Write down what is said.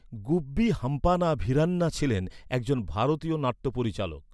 গুব্বি হাম্পান্না ভিরান্না ছিলেন একজন ভারতীয় নাট্য পরিচালক ।